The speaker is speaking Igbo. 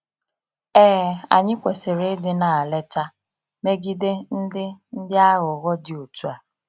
Ee, anyị kwesịrị ịdị n’alerta megide ndị ndị aghụghọ dị otu a.